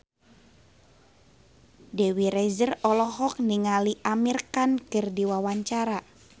Dewi Rezer olohok ningali Amir Khan keur diwawancara